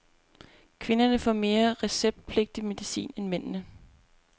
Kvinderne får mere receptpligtig medicin end mændene.